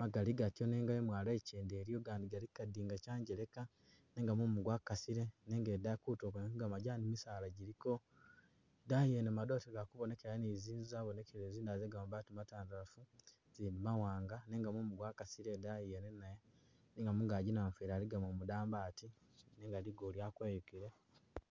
magali gatyo nenga imwalo ichende iliyo gandi gali kukadinga kyanjeleka nenga mumu gwakasile nenga idayi kutulo kwene kwegamajani misaala giliko idayi yene madoote gali kubonekelayo ni zinzu zabonekeleyo zindala zegamabaati matandalafu zindi mawanga nenga mumu gwakasile idayi yene nayo nenga mungagi namufeli aligamo umudambi ati nenga ligulu lya kweyukile